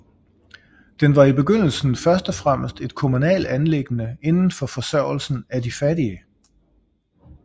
Den var i begyndelsen først og fremmest et kommunalt anliggende inden for forsørgelsen af de fattige